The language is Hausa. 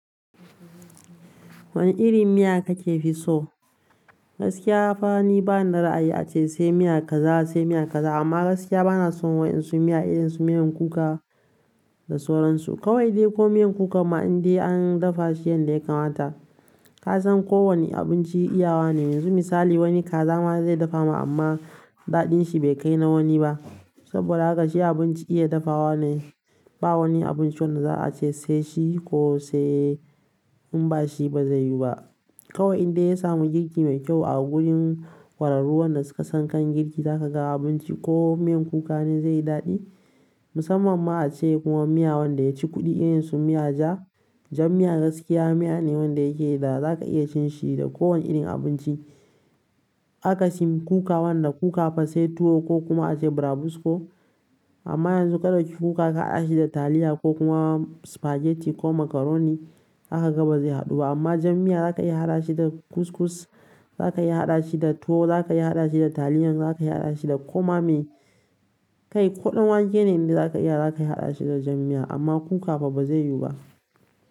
Wane irin miya kake fi so? Gaskiya fa ni bani da ra'ayi ace sai miya kaza sai miya kaza amma gaskiya bana son waƴansu miya irin su miyan kuka da sauran su. Kawai dai ko miyan kuka ma in dai an dafa shi yanda ya kamata, ka san ko wane abinci iya wa ne. Yanzu misali wani kaza ma zai dafa ma amma daɗin shi bai kai na wani ba. Saboda haka shi abinci iya dafa wa ne. Ba wani abinci wanda za a ce sai shi ko sai in ba shi ba zai yiwu ba. Kawai in dai ya samu girki mai kyau a gurin ƙwararru wanda suka san kan girki, zaka ga abinci ko miyan kuka ne zai yi daɗi. Musamman ma ace kuma miya wanda ya ci kuɗi irin su miya ja, jan miya gaskiya miya ne wanda yake da zaka iya cin shi da ko wane irin abinci. Akasin kuka wanda kuka fa sai tuwo ko kuma ace burabusko amma yanzu ka ɗauki kuka ka haɗa shi da taliya ko kuma spaghetti ko macaroni z kaga ba zai haɗu ba amma jan miya zaka iya haɗa shi da kuskus, zaka iya haɗa shi da tuwo, zaka iya haɗa shi da taliyan, zaka iya haɗa shi da koma me Kai ko ɗan wake ne inda zaka iya, zaka iya haɗa shi da jan miya amma kuka fa ba zai yiwu ba.